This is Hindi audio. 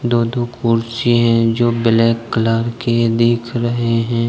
दो दो कुर्सी है। जो ब्लैक कलर के दिख रहे हैं।